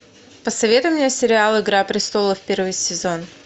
посоветуй мне сериал игра престолов первый сезон